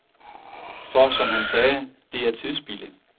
For, som han sagde, det er tidsspilde.